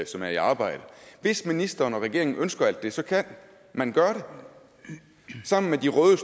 som er i arbejde hvis ministeren og regeringen ønsker alt det så kan man gøre det sammen med de røde